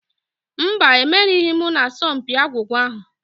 Mba, emerighị m n'asọmpi agwụgwa ahụ.